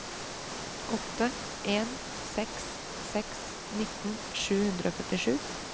åtte en seks seks nitten sju hundre og førtisju